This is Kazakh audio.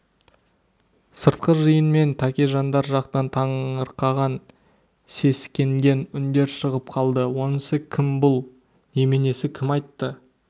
сыртқы жиын мен тәкежандар жақтан таңырқаған сескенген үндер шығып қалды онысы кім бұл неменесі кім айтты